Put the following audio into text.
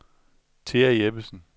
Thea Jeppesen